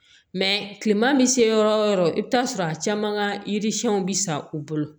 kilema bɛ se yɔrɔ o yɔrɔ i bɛ t'a sɔrɔ a caman ka yiri siɲɛnw bɛ sa u bolo